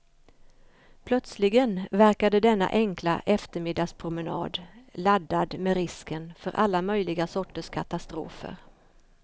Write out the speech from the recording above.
Plötsligen verkade denna enkla eftermiddagspromenad laddad med risken för alla möjliga sorters katastrofer.